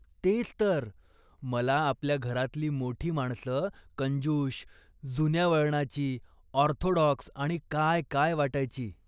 तेच तर ! मला आपल्या घरातली मोठी माणसं कंजूष, जुन्या वळणाची, ऑर्थोडॉक्स आणि काय काय वाटायची.